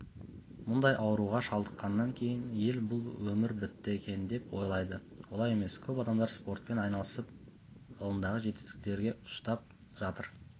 мұндай ауруға шалдыққаннан кейін ел бұл өмір бітті екен деп ойлайды олай емес көп адамдар спортпен айналысып ғылымдағы жетістіктерін ұштап жатыр